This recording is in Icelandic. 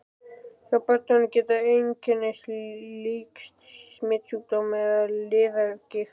Hjá börnum geta einkennin líkst smitsjúkdómi eða liðagigt.